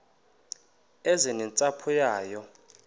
eze nentsapho yayo